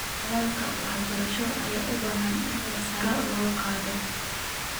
Nidaamka waxbarashada ayaa u baahan in sare loo qaado.